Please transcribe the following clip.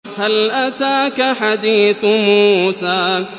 هَلْ أَتَاكَ حَدِيثُ مُوسَىٰ